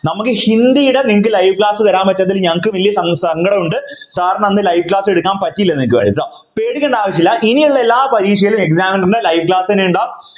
നമ്മക്ക് ഹിന്ദിയുടെ നിങ്ങക്ക് live class തരാൻ പറ്റാത്തതിൽ ഞങ്ങക്കും വല്യ സ സങ്കടമുണ്ട് sir നു അന്ന് live class എടുക്കാൻ പറ്റിയില്ല നിങ്ങക്ക് വേണ്ടി ട്ടോ പേടിക്കണ്ട ആവശ്യമില്ല ഇനിയുള്ള എല്ലാ പരീക്ഷയിലും examiner ൻ്റെ live class എന്നെ ഉണ്ടാകും